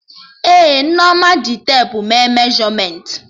Ee, Nneoma ji tepu mee meshọmentị